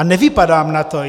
A nevypadám na to.